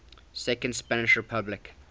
second spanish republic